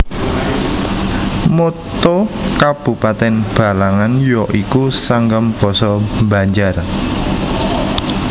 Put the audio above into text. Motto Kabupatèn Balangan ya iku Sanggam basa Banjar